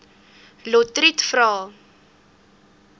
lotriet vra